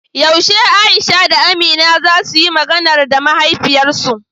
Yaushe Aisha da Amina za suyi "Maganar" da mahaifiyarsu?